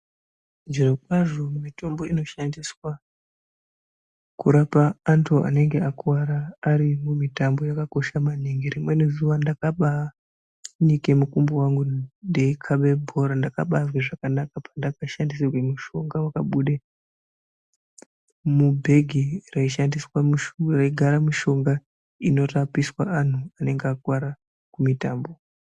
Zvirokwazvo mitombo inoshandiswa kurapa antu anenge akuwara ari mumitambo yakakosha maningi. Rimweni zuwa ndakabaanike mukumbo wangu ndeikhabe bhora, ndakabaazwe zvakanaka pandakashandisirwe mushonga wakabude mubhegi raishandraigara mishonga inorapa anhu anenga akuwara kumitambo.